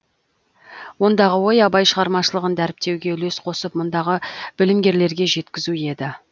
ондағы ой абай шығармашылығын дәріптеуге үлес қосып мұндағы білімгерлерге жеткізу еді